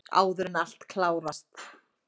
Áður en allt klárast!